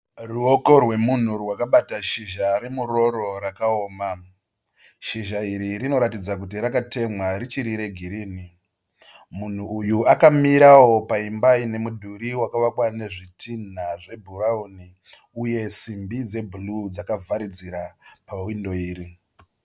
Ruoko rwemunhu rwakabata shizha remuroro rakaoma. Shizha iri rinoratidza kuti rakatemwa richiri regirinhi. Munhu uyu akamirawo paimba ine mudhuri wakavakwa nezvitinha zvebhurawuni uye simbi dzebhuruu dzakavharidzira pahwindo iri.